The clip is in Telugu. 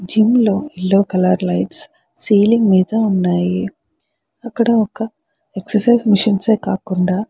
జిమ్ లో ఎల్లో కలర్ లైట్స్ సీలింగ్ మీద ఉన్నాయ్. ఆక్కడ ఒక ఎక్సర్సైస్ మెషిన్స్ ఏ కాకుండ --